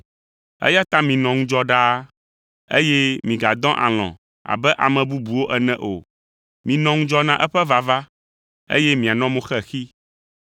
eya ta minɔ ŋudzɔ ɖaa, eye migadɔ alɔ̃ abe ame bubuwo ene o. Minɔ ŋudzɔ na eƒe vava, eye mianɔ mo xexi.